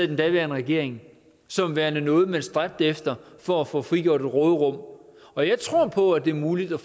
den daværende regering som værende noget man stræbte efter for at få frigjort et råderum og jeg tror på at det er muligt at